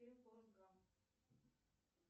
фильм форест гамп